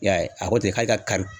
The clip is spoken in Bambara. I y'a ye a ko ten k'ali ka kari